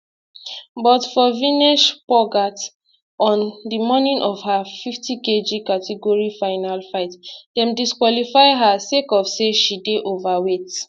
but for vinesh phogat on di morning of her 50kg category final fight dem disqualify her sake of say she dey overweight